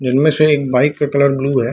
जिनमें से एक बाइक का कलर ब्लू है।